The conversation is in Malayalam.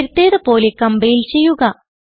നേരത്തേത് പോലെ കംപൈൽ ചെയ്യുക